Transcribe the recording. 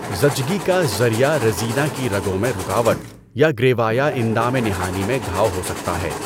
زچگی کا ذریعہ ریزینہ کی رگوں میں رکاوٹ یا گریوا یا اندام نہانی میں گھاؤ ہو سکتا ہے۔